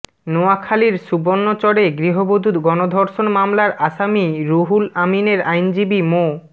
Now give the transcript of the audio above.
নোয়াখালীর সুবর্ণচরে গৃহবধূ গণধর্ষণ মামলার আসামি রুহুল আমিনের আইনজীবী মো